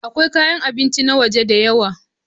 Akwai kayan abinci na waje da yawa.